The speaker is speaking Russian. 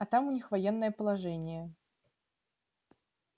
а там у них военное положение